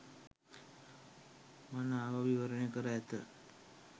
මනාව විවරණය කර ඇත.